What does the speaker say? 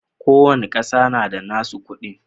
Kowanne kasar na da nassu kudi.